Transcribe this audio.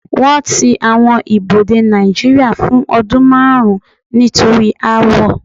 Wọ́n ti àwọn ibodè Nàìjíría fún ọdún márùn-ún nítorí aáwọ̀.